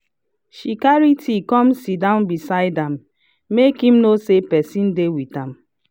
she carry tea come sitdown beside am make him know say person dey with am